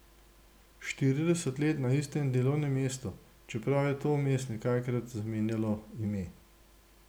Štirideset let na istem delovnem mestu, čeprav je to vmes nekajkrat zamenjalo ime.